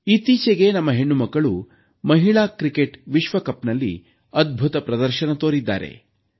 ಇತ್ತೀಚೆಗೆ ನಮ್ಮ ಹೆಣ್ಣು ಮಕ್ಕಳು ಮಹಿಳಾ ಕ್ರಿಕೆಟ್ ವಿಶ್ವಕಪ್ನಲ್ಲಿ ಅದ್ಭುತ ಪ್ರದರ್ಶನ ತೋರಿದ್ದಾರೆ